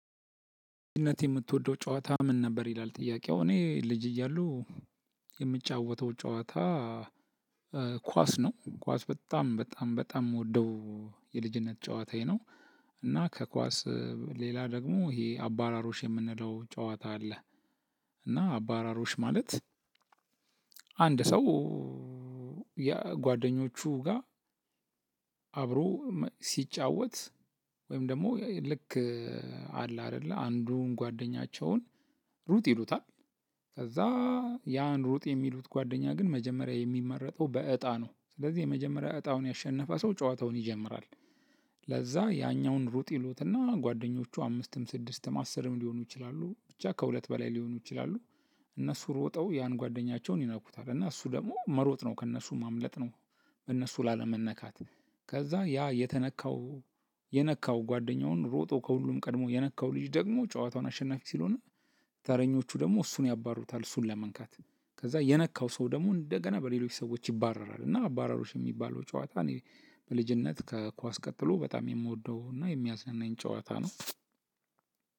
በልጅነት የምትወደው ጨዋታ ምን ነበር? ይላል ጥያቄው እኔ ልጅ እያለሁ የምጫወተው ጨዋታ ኳስ ነው። ኳስ በጣም በጣም በጣም የምወደው የልጅነት ጨዋታዬ ነው። እና ከኳስ ሌላ ደግሞ ይሄ አባሮሽ የምንለው ጨዋታ አለ። እና አባሮሽ ማለት አንድ ሰው ጓደኞቹ ጋር አብሮ ሲጫወት ወይም ደግሞ ልክ አለ አይደለ አንዱን ጓደኛቸውን ሩጥ ይሉታል። ከዛ ያን ሩጥ የሚሉት ጓደኛ ግን መጀመሪያ የሚመረጠው በእጣ ነው። ስለዚህ የመጀመሪያ እጣውን ያሸነፈ ሰው ጨዋታውን ይጀምራል። ለዛ ያኛውን ሩጥ ይሉትና ጓደኞቹ አምስትም ስድስትም አስርም ሊሆኑ ይችላሉ ብቻ ከሁለት በላይ ሊሆኑ ይችላሉ እነሱ ሮጠው ያን ጓደኛቸውን ይነኩታል። እና እሱ ደግሞ መሮጥ ነው ከእነሱ ማምለጥ ነው በእነሱ ላለመነካት ከዛ ያ የተነካው የነካው ጓደኛውን ሮጦ ከሁሉም ቀድሞ የነካው ልጅ ደግሞ ጨዋታውን አሸናፊ ስለሆነ ተረኞቹ ደግሞ እሱን ያባሩታል። እሱን ለመንካት ከዛ የነካው ሰው ደግሞ እንደገና በሌሎች ሰዎች ይባረራል። እና አባሮሽ የሚባለው ጨዋታ እኔ በልጅነት ከኳስ ቀጥሎ በጣም የምወደው እና የሚያዝናናኝ ጨዋታ ነው።